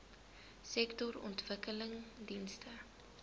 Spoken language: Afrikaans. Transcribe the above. sektorontwikkelingdienste